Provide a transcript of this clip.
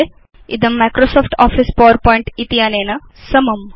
इदं Microsoft office PowerPoint समम्